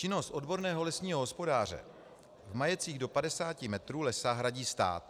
Činnost odborného lesního hospodáře v majetcích do 50 hektarů lesa hradí stát.